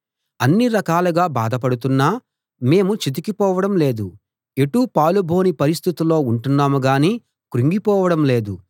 అన్ని రకాలుగా బాధలు పడుతున్నా మేము చితికిపోవడం లేదు ఎటూ పాలుబోని పరిస్థితుల్లో ఉంటున్నాం గానీ కృంగిపోవడం లేదు